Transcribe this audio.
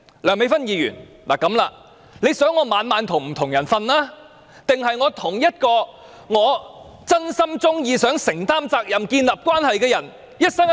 梁美芬議員希望我每晚與不同的人睡覺，還是希望我與一名我真心喜歡、想承擔責任並建立關係的人一生一世？